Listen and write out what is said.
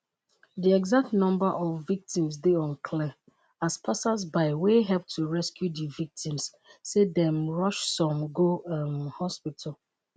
di exact number of victims dey unclear as passers-by wey help to rescue di victims say dem rush some go um hospital.